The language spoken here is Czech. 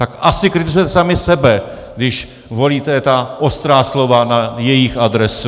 Tak asi kritizujete sami sebe, když volíte ta ostrá slova na jejich adresu.